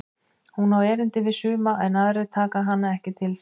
Hún á erindi við suma en aðrir taka hana ekki til sín.